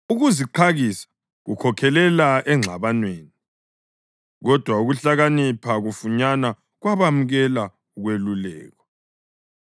Ukuziqakisa kukhokhelela engxabanweni, kodwa ukuhlakanipha kufunyanwa kwabemukela ukwelulekwa.